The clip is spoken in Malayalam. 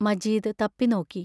മജീദ് തപ്പിനോക്കി.